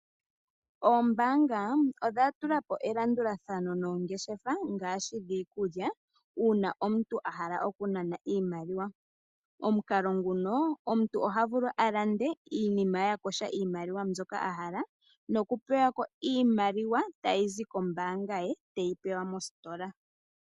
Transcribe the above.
Oombaanga odhatula po elandulathano noongeshefa ngaashi, dhiikulya, uuna omuntu ahala okunana iimaliwa. Omukalo nguno omuntu ohavulu alande iinima yakosha iimaliwa mbyoka ahala nokupewa ko iimaliwa tayi zi kombaanga ye tayi zi mositola.